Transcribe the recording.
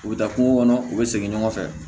U bɛ taa kungo kɔnɔ u bɛ segin ɲɔgɔn fɛ